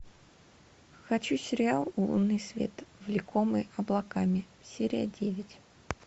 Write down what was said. хочу сериал лунный свет влекомый облаками серия девять